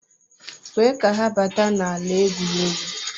kwee ka ha bata n'ala egwuregwu